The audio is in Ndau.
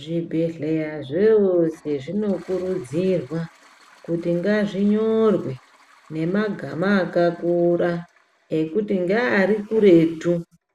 Zvibhedhlera zvewose zvinokurudzirwa kuti ngazvinyorwe nemwgama akakura ekuti nge arikuretu,